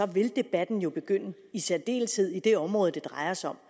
vil debatten jo begynde og i særdeleshed i det område det drejer sig om